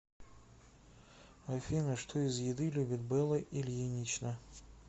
афина что из еды любит белла ильинична